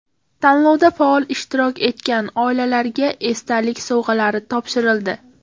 Tanlovda faol ishtirok etgan oilalarga esdalik sovg‘alari topshirildi.